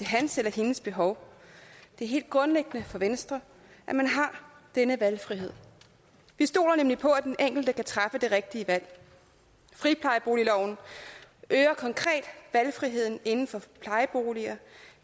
hans eller hendes behov det er helt grundlæggende for venstre at man har denne valgfrihed vi stoler nemlig på at den enkelte kan træffe det rigtige valg friplejeboligloven øger konkret valgfriheden inden for plejeboliger